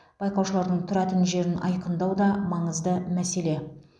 байқаушылардың тұратын жерін айқындау да маңызды мәселе